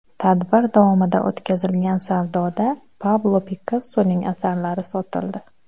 Tadbir davomida o‘tkazilgan savdoda Pablo Pikassoning asarlari sotildi.